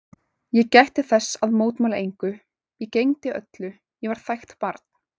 Ég gætti þess að mótmæla engu, ég gegndi öllu, ég var þægt barn.